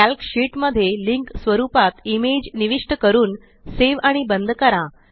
calc sheet मध्ये link स्वरुपात image निविष्ट करून सेव आणि बंद करा